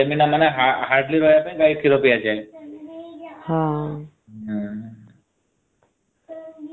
ହଁ